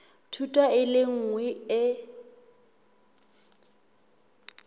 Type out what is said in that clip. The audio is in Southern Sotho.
thuto e le nngwe e